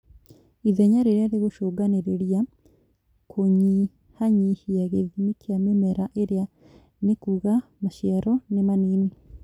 ithenya rirĩa rĩgũcũngagĩrĩra kũnyihanyihia gĩthimi kĩa mĩmera ĩrĩa nĩkuga maciaro nĩmanini